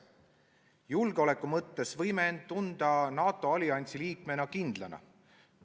Julgeoleku mõttes võime end NATO alliansi liikmena kindlana tunda.